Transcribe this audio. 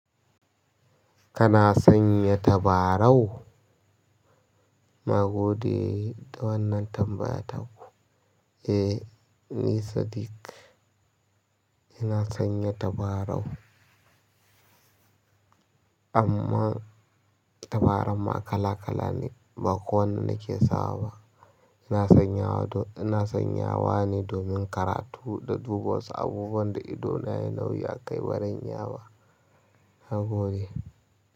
Kana sanya tabarau? Na gode da wannan tambaya ta ku. Eh, ni Sadik, ina sanya tabarau. Amma tabaran ma kala kala ne, ba kowanne nake sawa ba. Ina sanyawa ne domin karatu na duba wasu abubuwan da idona yayi nauyi akai bazan iya ba nagode.